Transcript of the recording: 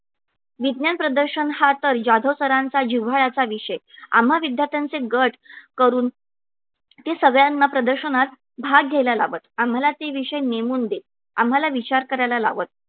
विज्ञान प्रदर्शन हा तर जाधव sir चा जिव्हाळ्याचा विषय आम्हा विद्यार्थ्यांचे गट करून ते सगळ्यांना प्रदर्शनात भाग घ्यायला लावत आम्हाला ते विषय नेमून देत आम्हाला विचार करायला लावत